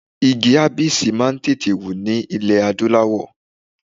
Igi abisi máa ń tètè hù ní ilẹ̀ adúláwọ̀.